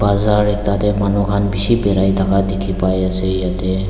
bazaar te tate manukhan bishi birai thaka dikhi pai ase yate.